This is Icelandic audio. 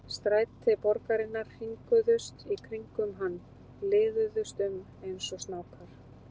Stræti borgarinnar hringuðust í kringum hann, liðuðust um eins og snákar.